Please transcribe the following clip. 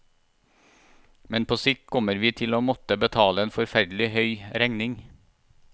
Men på sikt kommer vi til å måtte betale en forferdelig høy regning.